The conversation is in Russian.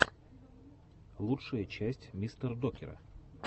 лучшая часть мистердокера